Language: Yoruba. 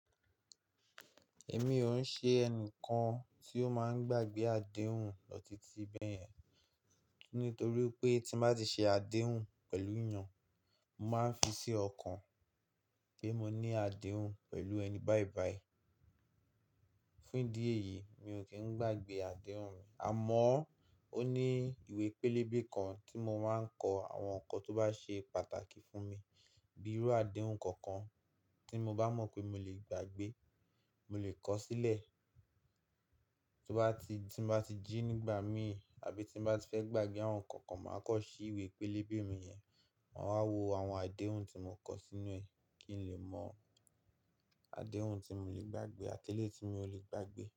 Èmi òun ṣe ẹnìkan tí ó máa ń gbàgbé àdéhùn lọ titi bẹ̀yẹn, nítorí pé tí bá ti ṣe àdéhùn pẹ̀lú eyàn, mo màá n fi sí ọkàn pé mo ní àdéhùn pẹ̀lú ẹni bàìbàì. Fún ìdí èyí mi ò kí ń gbàgbé àdéhùn mi. Àmọ́ ó ní ìwé pélébé kan tí mo máa ń kọ àwọn ǹkan tó bá ṣe pàtàkì fún mi, bíi irú àdéhùn kankan tí mo bá mọ̀ pé mo lè gbàgbé, mo lè kọ̀ sílẹ̀. Tí bá ti, tí bá ti jí nígbà mí àbí tí bá ti fẹ́ gbàgbé àwọn ǹkan kan, màá kọ̀ sí ìwé pélébé mi yẹn, maa wá wo àwọn àdéhùn tí mo kọ sínú ẹ̀ kí n lè mọ àdéhùn tí mo lè gbàgbé àti eléyi tí mio lè gbàgbé.